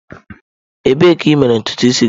Ebee ka i mere ntutu isi gị?